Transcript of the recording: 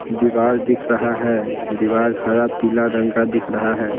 दीवार दिख रहा है दीवार हरा पीला रंग का दिख रहा है।